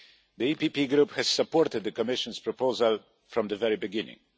The PPE Group has supported the Commission's proposal from the very beginning.